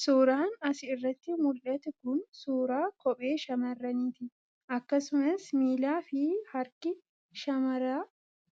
Suuraan as irratti mul'atu kun suuraa kophee shamarranii ti. Akkasumas miilaa fi harki shamara